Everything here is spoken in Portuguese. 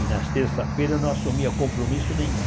E nas terças-feiras eu não assumia compromisso nenhum.